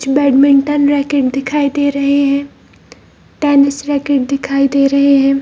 कुछ badminton racket दिखाई दे रहे हैं टेनिस रैकेट दिखाई दे रहे हैं।